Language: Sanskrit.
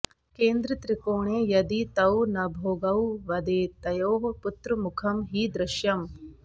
केन्द्रत्रिकोणे यदि तौ नभोगौ वदेतयोः पुत्रमुखं हि दृश्यम्